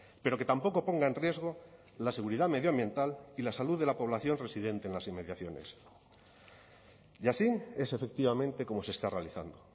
pero que tampoco ponga en riesgo la seguridad medioambiental y la salud de la población residente en las inmediaciones y así es efectivamente cómo se está realizando